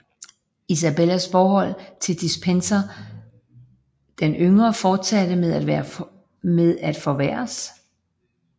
Isabellas forhold til Despenser den Yngre fortsatte med at forværres